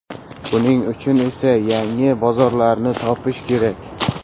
Buning uchun esa yangi bozorlarni topish kerak.